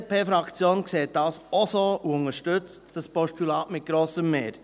Die BDP-Fraktion sieht dies auch so und unterstützt dieses Postulat mit grosser Mehrheit.